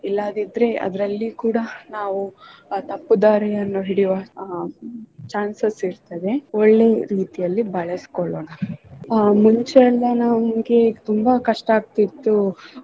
ಇಲ್ಲದಿದ್ರೆ ಅದರಲ್ಲೂ ಕೂಡಾ ನಾವು ತಪ್ಪುದಾರಿಯನ್ನು ಹಿಡಿಯುವ ಅಹ್ chances ಇರ್ತ್ತದೆ ಒಳ್ಳೆ ರೀತಿಯಲ್ಲಿ ಬಳಸ್ಕೊಳ್ಳೋಣ ಮುಂಚೆಯಿಂದ ನಾವು ನಮ್ಗೆ ತುಂಬಾ ಕಷ್ಟ ಆಗ್ತಿತ್ತು.